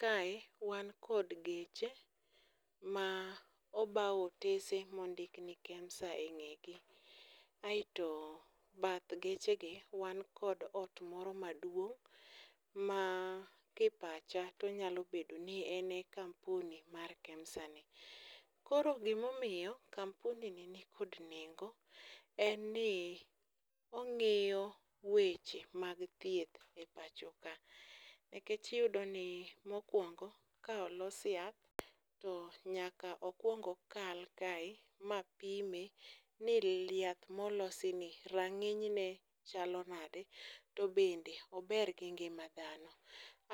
Kae wan kod geche ma obaw otese mondik ni Kemsa e ng'egi aeto bath gechegi wan kod ot moro maduong' ma kipacha to onyalo bedo ni en e kampuni mar Kemsani. Koro gimomiyo kampuni ni nikod nengo en ni ong'iyo weche mag thieth e pacho ka, nikech iyudo ni mokwongo ka olos yath, to nyaka okwong okal kae ma pime ni yath molosini rang'inyne chalo nade to bende ober gi ngima dhano,